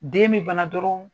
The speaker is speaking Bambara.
Den bi bana dɔrɔn